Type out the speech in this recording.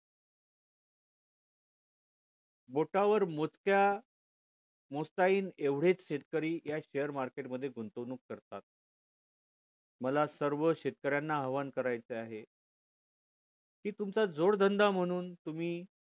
बोटावर मोजक्या मोजता येईल एवढेच शेतकरी या share market मध्ये गुंतवणूक करतात मला सर्व शेकर्यांना आव्हान करायचं आहे कि तुमचा जोड धंदा म्हणून तुम्ही